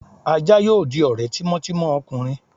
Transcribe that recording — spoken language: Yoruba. aja yóò dí ore tímò timò ọkunrín